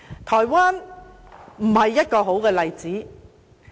台灣不是好的例子。